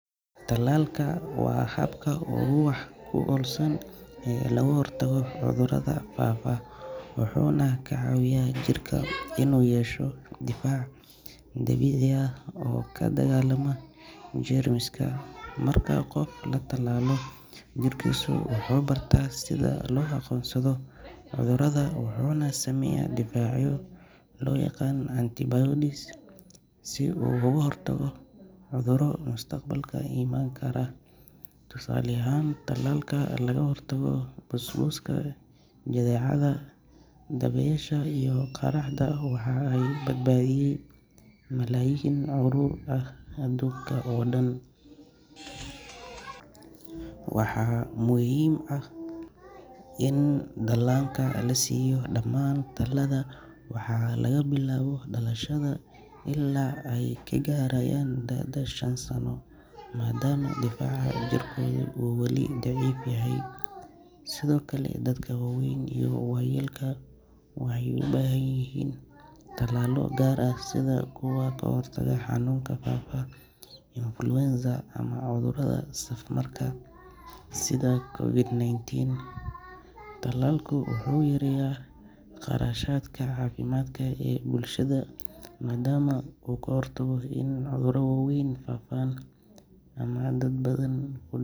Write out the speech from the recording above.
Tallaalku waa habka ugu wax ku oolsan ee looga hortago cudurrada faafa, wuxuuna ka caawiyaa jirka inuu yeesho difaac dabiici ah oo la dagaallama jeermiska. Marka qofka la tallaalo, jirkiisu wuxuu barta sida loo aqoonsado cudurrada wuxuuna sameeyaa difaacyo loo yaqaan antibodies si uu uga hortago cudurro mustaqbalka iman kara. Tusaale ahaan, tallaalka lagaga hortago busbuska, jadeecada, dabaysha iyo qaaxada ayaa badbaadiyay malaayiin carruur ah aduunka oo dhan. Waxaa muhiim ah in dhallaanka la siiyo dhammaan tallaalada laga bilaabo dhalashada ilaa ay ka gaarayaan da’da shan sano, maadaama difaaca jirkoodu uu wali daciif yahay. Sidoo kale dadka waaweyn iyo waayeelka waxay u baahan yihiin tallaalo gaar ah sida kuwa ka hortaga xanuunka faafa ee influenza ama cudurrada safmarka sida COVID-ninteen. Tallaalku wuxuu yareeyaa kharashaadka caafimaadka ee bulshada maadaama uu ka hortago in cudurro waaweyn faafaan ama dad badan ku.